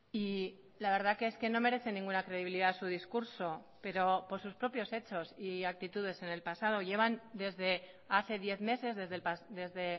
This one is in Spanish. y la verdad que es que no merece ninguna credibilidad su discurso pero por sus propios hechos y actitudes en el pasado llevan desde hace diez meses desde